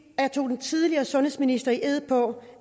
jeg tog den tidligere sundhedsminister i ed på